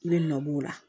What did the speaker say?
I bɛ nɔbɔ o la